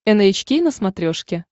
эн эйч кей на смотрешке